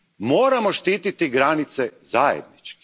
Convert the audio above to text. Moramo štititi granice zajednički.